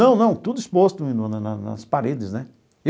Não, não, tudo exposto na na na nas paredes, né?